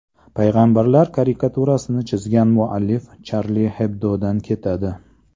Payg‘ambarlar karikaturasini chizgan muallif Charlie Hebdo‘dan ketadi.